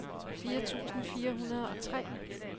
fire tusind fire hundrede og tre